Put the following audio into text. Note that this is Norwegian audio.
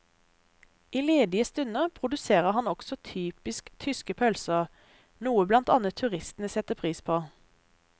I ledige stunder produserer han også typisk tyske pølser, noe blant annet turistene setter pris på.